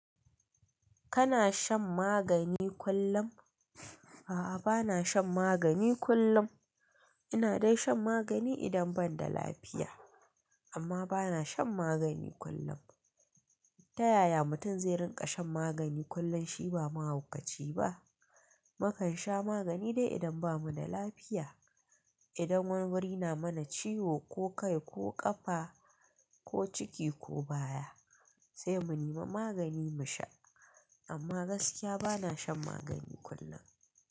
Kana shan magani kullum? A'a bana shan magani kullum. Ina dai shan magani idan ban da lafiya. Amma bana shan magani kullum. Ta yaya mutum zai rinƙa shan magani kullum shi ba mahaukaci ba? Mukan sha magani dai idan bamu da lafiya. Idan wani wuri na mana ciwo ko kai ko ƙafa ko ciki ko baya sai mu nema magani mu sha. Amma gaskiya bana shan magani kullum.